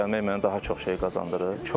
Bura gəlmək mənə daha çox şey qazandırır.